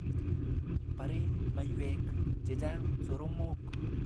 Bare maywek chechang' soromok.